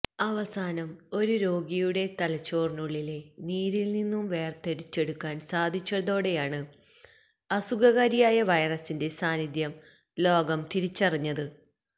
അവസാനം ഒരു രോഗിയുടെ തലച്ചോറിനുള്ളിലെ നീരില് നിന്നും വേര്തിരിച്ചെടുക്കാന് സാധിച്ചതോടെയാണ് അസുഖ കാരിയായ വൈറസിന്റെ സാന്നിധ്യം ലോകം തിരിച്ചറിഞ്ഞത്